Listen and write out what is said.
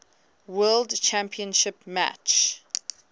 world championship match